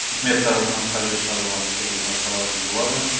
үкімет тарапынан қажетті шаралар шұғыл атқарылатын болады